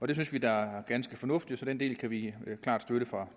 det synes vi da er ganske fornuftigt så den del kan vi klart støtte fra